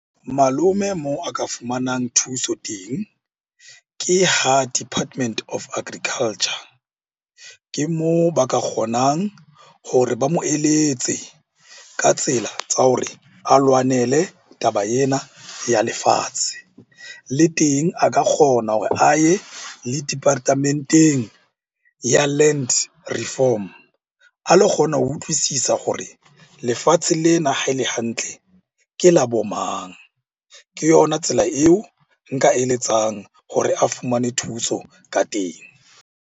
Malome moo a ka fumanang thuso teng ke ha Department of Agriculture. Ke moo ba ka kgonang hore ba mo eletse ka tsela tsa hore a lwanele taba ena ya lefatshe. Le teng a ka kgona hore a ye le department-eng ya land reform a lo kgona ho utlwisisa hore lefatshe lena ha e le hantle ke la.bo mang? Ke yona tsela eo nka eletsang hore a fumane thuso ka teng.